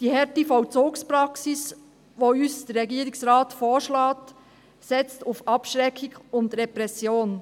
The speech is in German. Die harte Vollzugspraxis, die uns der Regierungsrat vorschlägt, setzt auf Abschreckung und Repression.